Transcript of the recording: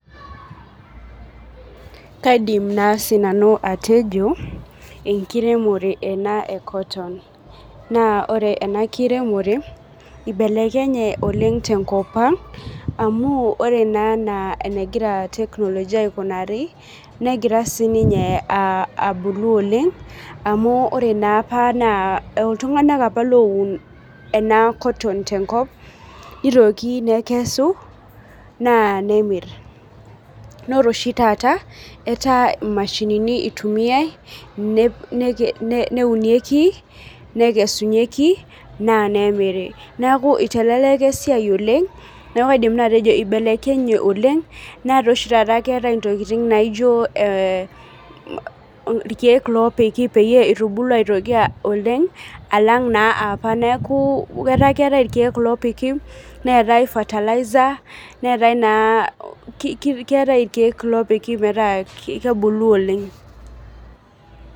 Kaidim naa sinanu atejo enkiremore ena e cotton naa ore ena kiremore ibelekenye oleng tenkop ang amu ore naa enaa enegira teknolojia aikunari negira sininye uh abulu oleng amu ore naa apa iltung'anak apa loun ena cotton tenkop nitoki nekesu naa nemirr nore oshi taata etaa imashinini itumiae ne neke neunieki nekesunyieki naa nemiri neku iteleleka esiai oleng neku kaidim naa atejo ibelekenye oleng netaa oishi taata keetae intokiting naijo eh irkeek lopiki peyie itubulu aitoki uh oleng alang naa apa neku etaa keetae irkeek lopiki neetae fertilizer neetae naa ki keetae irkeek lopiki metaa kebulu oleng.